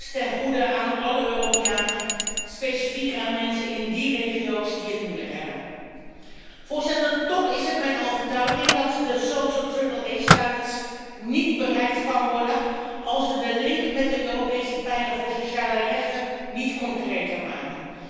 Dat komt ten goede aan alle Europeanen, met name aan mensen in regio's die het moeilijk hebben. Toch is het mijn overtuiging dat de sociale AAA-status niet bereikt kan worden als we de link met de Europese pijler voor sociale rechten niet concreter maken.